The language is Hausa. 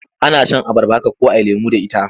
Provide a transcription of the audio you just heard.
Ana shan abarba haka ko a yi lemo da ita.